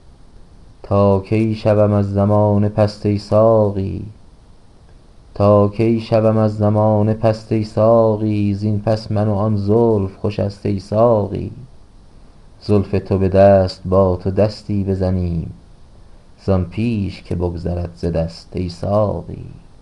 تاکی شوم از زمانه پست ای ساقی زین پس من و آن زلف خوش است ای ساقی زلف تو به دست باتو دستی بزنیم زان پیش که بگذرد ز دست ای ساقی